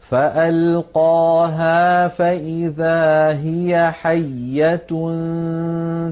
فَأَلْقَاهَا فَإِذَا هِيَ حَيَّةٌ